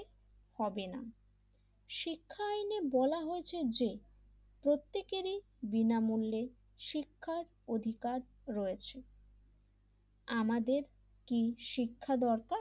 হবে না শিক্ষায়ওনে বলা হয়েছে যে প্রত্যেকেরই বিনামূল্যে শিক্ষার অধিকার রয়েছে আমাদেরকে কি শিক্ষা দরকার?